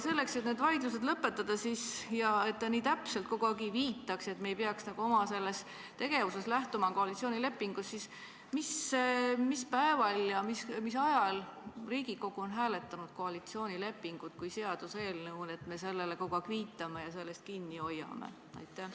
Selleks, et need vaidlused lõpetada ja et te nii täpselt kogu aeg ei viitaks, nagu peaks me oma tegevuses lähtuma koalitsioonilepingust, siis mis päeval ja mis ajal on Riigikogu hääletanud koalitsioonilepingut kui seaduseelnõu, et me sellele kogu aeg viitame ja sellest kinni hoiame?